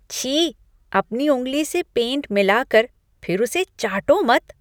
छी! अपनी उंगली से पेंट मिलाकर फिर उसे चाटो मत।